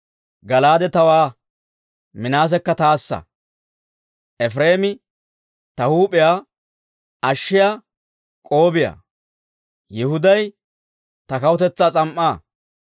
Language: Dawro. Gala'aade tawaa; Minaasekka taassa; Efireemi ta huup'iyaa ashshiyaa k'oobiyaa; Yihuday ta kawutetsaa s'am"aa.